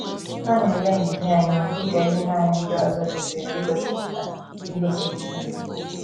Ha na - ele ndidi anya dị ka ihe nanị ndị ọzọ kwesịrị igosipụta. igosipụta.